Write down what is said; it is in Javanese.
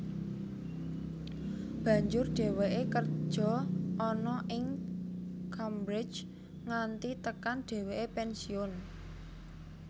Banjur dheweke kerja ana ing Cambridge nganti tekan dheweke pensiun